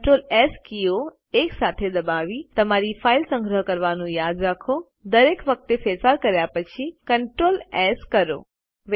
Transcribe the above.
Ctrl S કીઓ એકસાથે દબાવી તમારી ફાઈલ સંગ્રહ કરવાનું યાદ રાખો દરેક વખતે ફેરફાર કર્યા પછી CTRL એસ કરો